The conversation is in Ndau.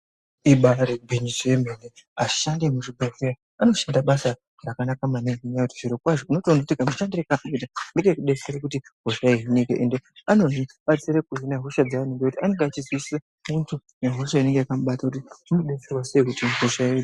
Ibari gwinyiso remene vashandi vemu zvibhedhlera vanoshanda basa rakanaka maningi nenyaya yekuti zvirokwazvo unotona kuti kamushandire kaanoita ngekuti detsere kuti kuhina hosha ende ano batsira kuhina hosha dzevantu nekuti anenge achizwisisa muntu nehosha inenge yekamubata kuti vomudetsera sei kuti hosha iyi ihinike.